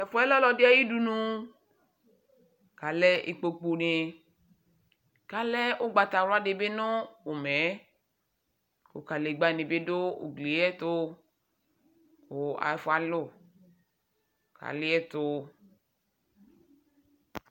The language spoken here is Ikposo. Tɛ fu yɛ lɛ ɔlu ɛdi ayu udunu Alɛ ikpokpuni Ku alɛ ugbatawla di bi nu umɛ yɛ Ku kadegbani bi du ugli yɛ ɛtu Ku ɛfu alu Aliɛtu